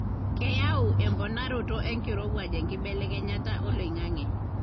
keyau emponaroto enkirowuaj enkibelekenyata oloingange